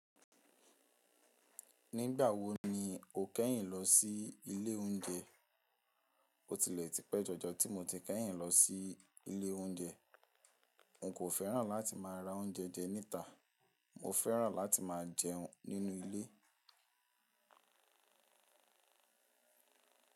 Nígbà wo ni o kẹ́yìn lọ sí ilé oúnjẹ? Ó tilẹ̀ ti pẹ́ jọjọ tí mo ti kẹ́yìn lọ sí ilé oúnjẹ. N kò fẹ́ràn láti máa ra oúnjẹ jẹ níta. Mo fẹ́ràn láti máa jẹ nínú ilé.